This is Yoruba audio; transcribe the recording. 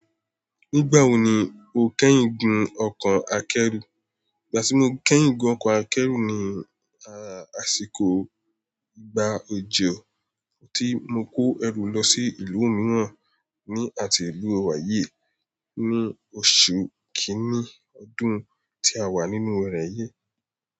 Nígbà wo ni o kẹ́yìn gun ọkọ̀ akẹ́rù? Ìgbà tí mo kẹ́yìn gun ọkọ̀ akẹ́rù ni àsìkò ìgbà òjò, tí mo kó ẹrù lọ sí ìlú mìíràn ní àti ìlú wa yìí ní oṣù kìíní ọdún tí a wà nínú rẹ̀ yìí.